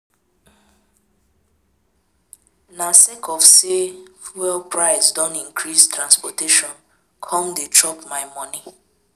Na sake of sey fuel price don increase transportation come dey chop my moni.